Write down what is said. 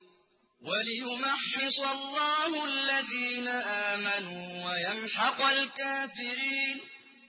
وَلِيُمَحِّصَ اللَّهُ الَّذِينَ آمَنُوا وَيَمْحَقَ الْكَافِرِينَ